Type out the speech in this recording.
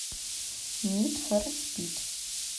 нид фор спид